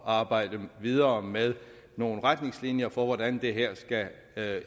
arbejde videre med nogle retningslinjer for hvordan det her skal